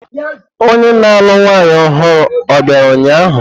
Onye na-alụ nwanyị ọhụrụ o bịara ụnyahụ?